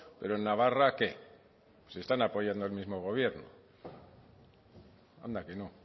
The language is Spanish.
pero en navarra qué si están apoyando al mismo gobierno anda que no